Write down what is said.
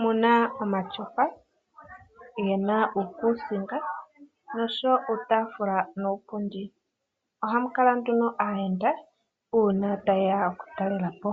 mu na omatyofa ge na uukuusinga noshowo uutaafula nuupundi. Ohamu kala nduno aayenda uuna ye ya okutalela po.